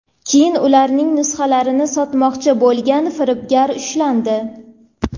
keyin ularning nusxalarini sotmoqchi bo‘lgan firibgar ushlandi.